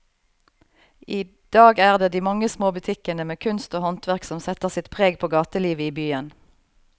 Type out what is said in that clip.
I dag er det de mange små butikkene med kunst og håndverk som setter sitt preg på gatelivet i byen.